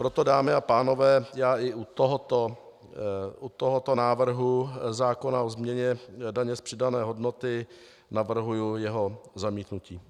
Proto, dámy a pánové, já i u tohoto návrhu zákona o změně daně z přidané hodnoty navrhuji jeho zamítnutí.